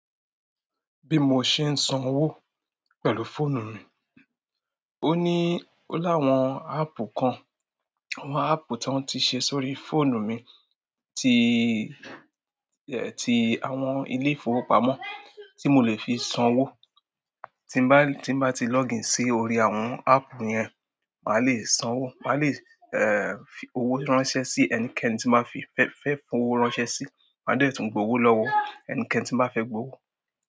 Bí mo ṣe ń sanwó pẹ̀lú fóònù mi, ó ní láwọn áápù kan, àwọn áápù tó ti ṣe sórí fóònù mi ti, ti àwọn ilé-ìfowópamọ́ tó mo lè fi sanwó. Tín bá, tí bá ti lọ́gìn sí orí àwọn áápù yẹn, màá lè sanwó, màá lè, ẹ́, fi owó ránṣẹ́ sí ẹnikẹ́ni tí màá fi fẹ́ fowó ránṣẹ́ sí, màá dè tún gbowó lọ́wọ ẹnikẹ́ni tí màá fẹ́ gbowó.